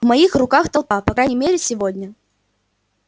в моих руках толпа по крайней мере сегодня